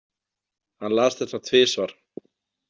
Hann las þetta tvisvar.